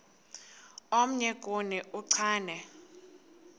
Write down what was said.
omnye kuni uchane